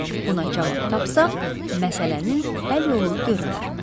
Buna cavab tapsaq, məsələnin həll yolu görünər.